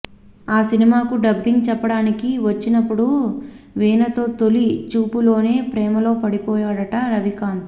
ఆ సినిమాకు డబ్బింగ్ చెప్పడానికి వచ్చినపుడు వీణతో తొలి చూపులోనే ప్రేమలో పడిపోయాడట రవికాంత్